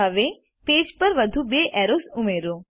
હવે પેજ પર વધુ બે એરોઝ ઉમેરો